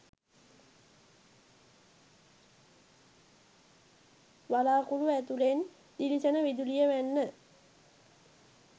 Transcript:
වළාකුළු ඇතුළෙන් දිලිසෙන විදුලිය වැන්න.